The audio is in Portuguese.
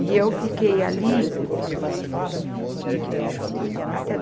E eu fiquei ali até